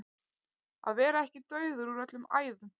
Að vera ekki dauður úr öllum æðum